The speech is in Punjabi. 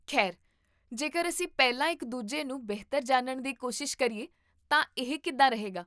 ਖੈਰ, ਜੇਕਰ ਅਸੀਂ ਪਹਿਲਾਂ ਇੱਕ ਦੂਜੇ ਨੂੰ ਬਿਹਤਰ ਜਾਣਨ ਦੀ ਕੋਸ਼ਿਸ਼ ਕਰੀਏ ਤਾਂ ਇਹ ਕਿੱਦਾਂ ਰਹੇਗਾ?